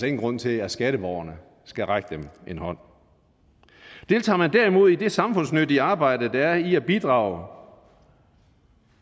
ingen grund til at skatteborgerne skal række dem en hånd deltager man derimod i det samfundsnyttige arbejde der er i at bidrage